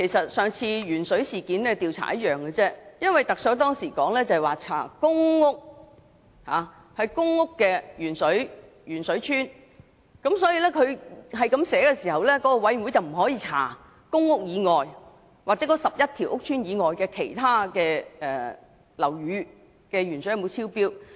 與上次調查鉛水事件一樣，特首當時也是說只調查公屋"鉛水邨"，所以調查委員會不會調查該11個公共屋邨以外地方的食水含鉛量有否超標。